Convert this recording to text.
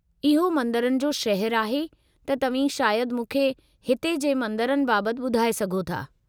इहो मंदरनि जो शहरु आहे त तव्हीं शायदि मूंखे हिते जे मंदरनि बाबत ॿुधाए सघो था।